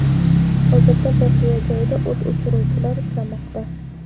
Hozirda voqea joyida o‘t o‘chiruvchilar ishlamoqda.